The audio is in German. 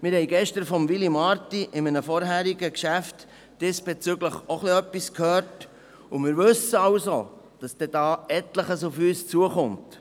Wir haben gestern von Willy Marti zu einem vorangehenden Geschäft diesbezüglich bereits etwas gehört, und wir wissen, dass hier etliches auf uns zukommt.